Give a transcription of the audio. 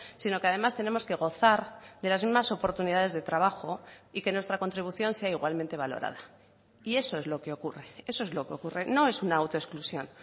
sino que además tenemos que gozar de las mismas oportunidades de trabajo y que nuestra contribución sea igualmente valorada y eso es lo que ocurre eso es lo que ocurre no es una auto exclusión